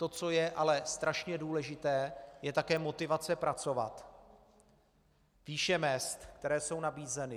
To, co je ale strašně důležité, je také motivace pracovat, výše mezd, které jsou nabízeny.